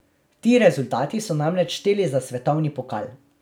Ti rezultati so namreč šteli za svetovni pokal.